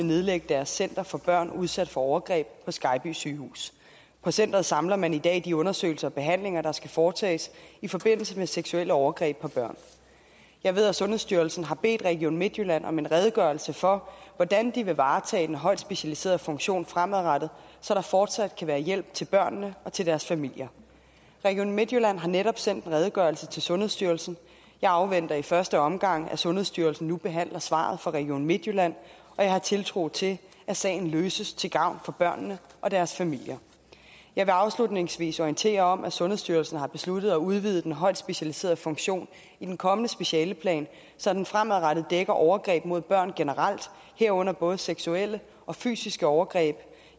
nedlægge deres center for børn udsat for overgreb på skejby sygehus på centeret samler man i dag de undersøgelser og behandlinger der skal foretages i forbindelse med seksuelle overgreb på børn jeg ved at sundhedsstyrelsen har bedt region midtjylland om en redegørelse for hvordan de vil varetage den højt specialiserede funktion fremadrettet så der fortsat kan være hjælp til børnene og til deres familier region midtjylland har netop sendt en redegørelse til sundhedsstyrelsen jeg afventer i første omgang at sundhedsstyrelsen nu behandler svaret fra region midtjylland og jeg har tiltro til at sagen løses til gavn for børnene og deres familier jeg vil afslutningsvis orientere om at sundhedsstyrelsen har besluttet at udvide den højt specialiserede funktion i den kommende specialeplan så den fremadrettet dækker overgreb mod børn generelt herunder både seksuelle og fysiske overgreb